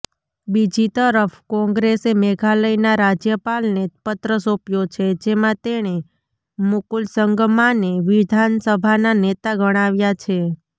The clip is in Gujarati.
બીજીતરફ કોંગ્રેસે મેઘાલયના રાજ્યપાલને પત્ર સોંપ્યો છે જેમાં તેણે મુકુલ સંગમાને વિધાનસભાના નેતા ગણાવ્યા છે